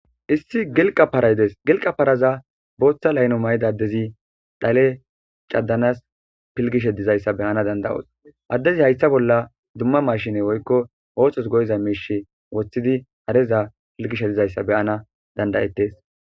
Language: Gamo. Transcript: Issi gilqaq paray dees gilqa parazza botha afilla mayizza adazzi pilgizze dizzayssa be'nas dandayos izzimirmara machine haythan wothidi pilgishe dizzayssa be'naw danda's.